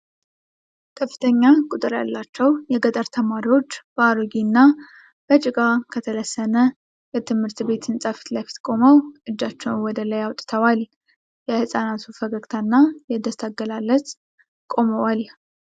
ከፍተኛ ቁጥር ያላቸው የገጠር ተማሪዎች በአሮጌና በጭቃ ከተለሰነ የትምህርት ቤት ህንፃ ፊት ለፊት ቆመው እጃቸውን ወደ ላይ አውጥተዋል። የሕፃናቱ ፈገግታና የደስታ አገላለጽ ቆመዋል።